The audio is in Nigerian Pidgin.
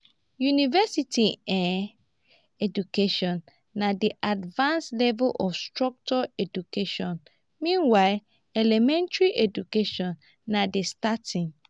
university um education na di advanced level of structured education meanwhile elementary education na di starting